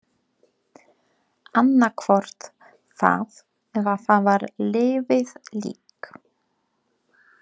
Annað hvort það eða hann var liðið lík.